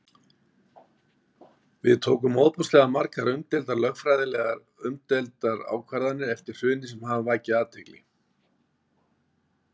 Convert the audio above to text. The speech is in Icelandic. Við tókum ofboðslega margar umdeildar, lögfræðilega umdeildar ákvarðanir eftir hrunið sem hafa vakið athygli?